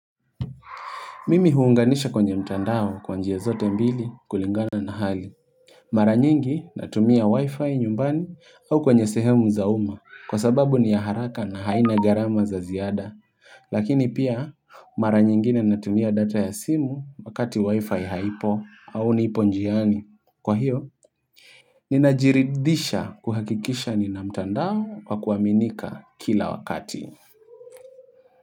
Mimi huunganisha kwenye mtandao kwa njia zote mbili kulingana na hali Mara nyingi natumia wi-fi nyumbani au kwenye sehemu za uma kwa sababu ni ya haraka na haina garama za ziada Lakini pia mara nyingine natumia data ya simu wakati wi-fi haipo au niipo njiani Kwa hiyo, ninajiridhisha kuhakikisha nina mtandao wa kuwaminika kila wakati.